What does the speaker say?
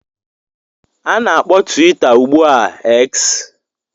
A na-akpọ Twitter ugbu a X